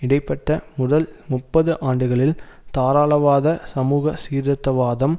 இடைபட்ட முதல் முப்பது ஆண்டுகளில் தாராளவாத சமூக சீர்திருத்தவாதம்